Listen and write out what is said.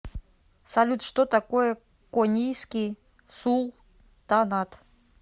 салют что такое конийский султанат